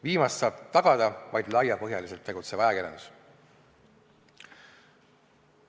Viimast saab tagada vaid laiapõhjaliselt tegutsev ajakirjandus.